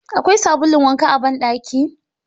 Akwai sabulun wanka a ban daki?.